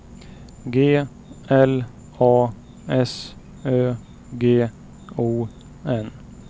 G L A S Ö G O N